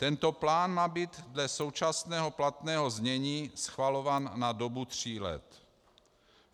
Tento plán má být dle současného platného znění schvalován na dobu tří let.